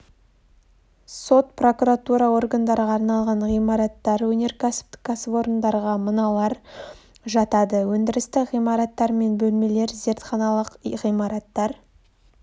сот прокуратура органдарға арналған ғимараттар өнеркәсіптік кәсіпорындарға мыналар жатады өндірістік ғимараттар мен бөлмелер зертханалық ғимараттар